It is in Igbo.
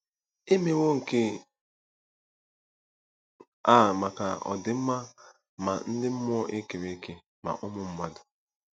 E mewo nke a maka ọdịmma ma ndị mmụọ e kere eke ma ụmụ mmadụ.